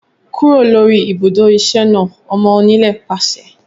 Kúrò lórí ibùdó iṣẹ́ náà! Ọmọ onílẹ̀ pàṣẹ